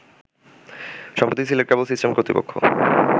সম্প্রতি Sylhet cable system কর্তৃপক্ষ